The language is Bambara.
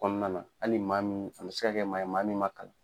Kɔɔna la hali maa min a bɛ se ka kɛ maa ye maa min ma kalan.